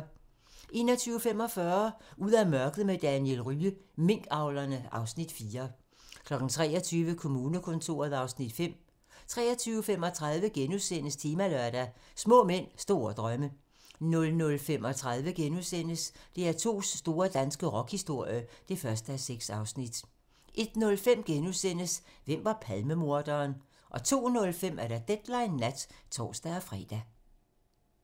21:45: Ud af mørket med Daniel Rye - Minkavlerne (Afs. 4) 23:00: Kommunekontoret (Afs. 5) 23:35: Temalørdag: Små mænd, store drømme * 00:35: DR2's store danske rockhistorie (1:6)* 01:05: Hvem var Palmemorderen? * 02:05: Deadline nat (tor-fre)